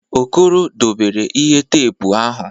Okoro dobere ihe teepu ahụ.